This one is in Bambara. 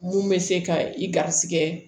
Mun bɛ se ka i garisigɛ